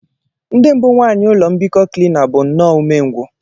The mbụ nwaanyị ụlọ mbikọ Cleaner bụ nnọọ umengwụ